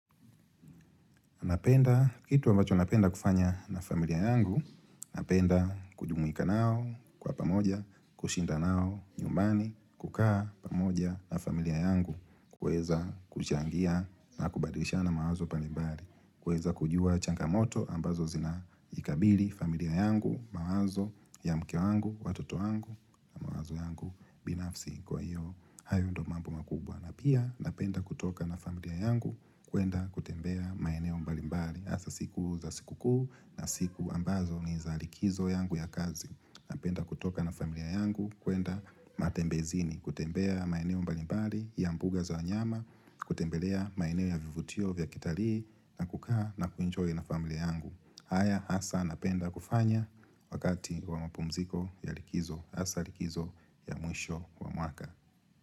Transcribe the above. Napenda kitu ambacho napenda kufanya na familia yangu, napenda kujumuika nao kwa pamoja, kushinda nao nyumbani, kukaa pamoja na familia yangu, kuweza kuchangia na kubadilishana mawazo mbalimbali, kuweza kujua changamoto ambazo zinaikabili familia yangu, mawazo, ya mke wangu, watoto wangu, mawazo yangu, binafsi kwa hiyo, hayo ndio mambo makubwa. Na pia napenda kutoka na familia yangu kuenda kutembea maeneo mbalimbali hasa siku za siku kuu na siku ambazo ni za likizo yangu ya kazi Napenda kutoka na familia yangu kuenda matembezini kutembea maeneo mbalimbali ya mbuga za wanyama kutembelea maeneo ya vivutio vya kitalii na kukaa na kuenjoy na familia yangu haya hasa napenda kufanya wakati wa mapumziko ya likizo hasa likizo ya mwisho wa mwaka.